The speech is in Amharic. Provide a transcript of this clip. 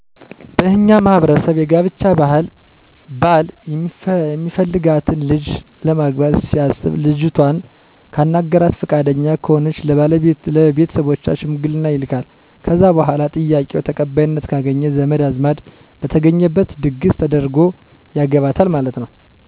በእኛ ማህበረሰብ የጋብቻ ባህል ባል የሚፈልጋትን ልጅ ለማግባት ሲያሰብ ልጅቷን ካናገረና ፍቃደኛ ከሆነች ለቤተሰቦቿ ሸምግልና ይልካል ከዛ በኋላ ጥያቄው ተቀባይነት ካገኘ ዘመድ አዝማድ በተገኘበት ድግሰ ተደርጎ ያገባታል ማለት ነው።